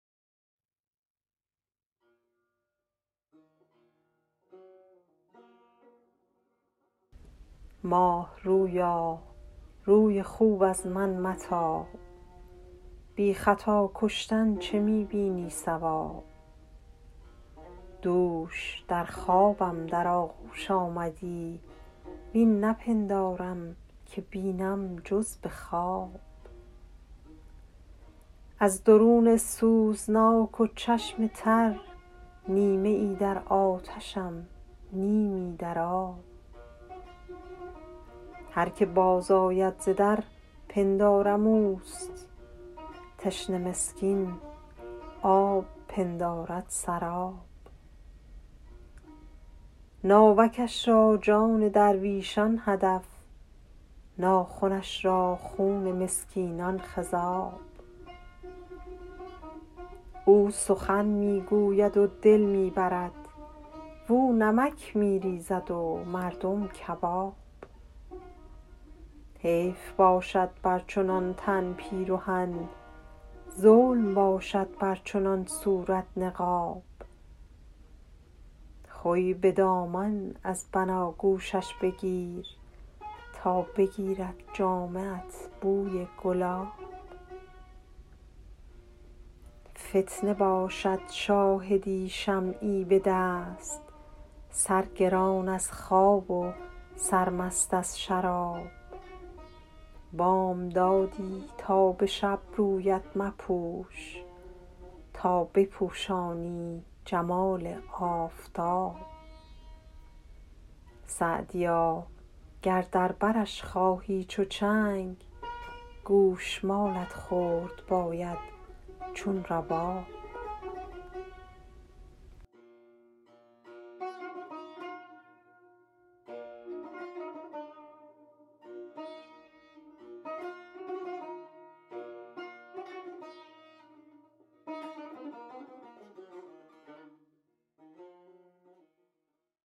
ماه رویا روی خوب از من متاب بی خطا کشتن چه می بینی صواب دوش در خوابم در آغوش آمدی وین نپندارم که بینم جز به خواب از درون سوزناک و چشم تر نیمه ای در آتشم نیمی در آب هر که باز آید ز در پندارم اوست تشنه مسکین آب پندارد سراب ناوکش را جان درویشان هدف ناخنش را خون مسکینان خضاب او سخن می گوید و دل می برد واو نمک می ریزد و مردم کباب حیف باشد بر چنان تن پیرهن ظلم باشد بر چنان صورت نقاب خوی به دامان از بناگوشش بگیر تا بگیرد جامه ات بوی گلاب فتنه باشد شاهدی شمعی به دست سرگران از خواب و سرمست از شراب بامدادی تا به شب رویت مپوش تا بپوشانی جمال آفتاب سعدیا گر در برش خواهی چو چنگ گوش مالت خورد باید چون رباب